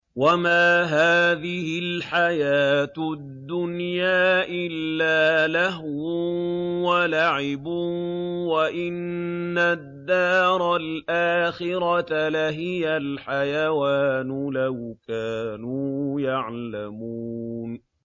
وَمَا هَٰذِهِ الْحَيَاةُ الدُّنْيَا إِلَّا لَهْوٌ وَلَعِبٌ ۚ وَإِنَّ الدَّارَ الْآخِرَةَ لَهِيَ الْحَيَوَانُ ۚ لَوْ كَانُوا يَعْلَمُونَ